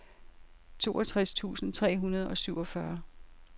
toogtres tusind tre hundrede og syvogfyrre